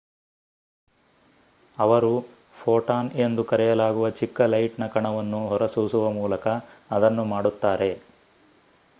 "ಅವರು "ಫೋಟಾನ್" ಎಂದು ಕರೆಯಲಾಗುವ ಚಿಕ್ಕ ಲೈಟ್‌ನ ಕಣವನ್ನು ಹೊರಸೂಸುವ ಮೂಲಕ ಅದನ್ನು ಮಾಡುತ್ತಾರೆ.